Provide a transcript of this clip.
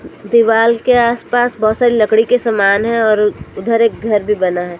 दीवाल के आसपास बहोत सारे लकड़ी के सामान है और उधर एक घर भी बना है।